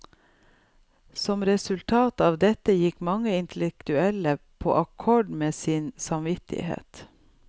Som resultat av dette gikk mange intellektuelle på akkord med sin samvittighet.